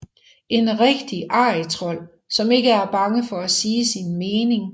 En rigtig arrigtrold som ikke er bange for at sige sin mening